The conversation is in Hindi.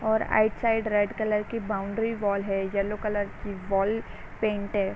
और आइट साइड रेड कलर की बाउंड्री वॉल है। येलो कलर की वॉल पेंट है।